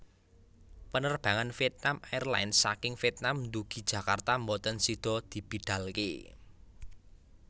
Penerbangan Vietnam Airlines saking Vietnam ndugi Jakarta mboten sido dibidalke